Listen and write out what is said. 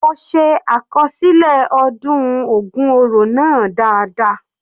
Mo se àkọsílẹ ọdún ògun oro náà dáadáa.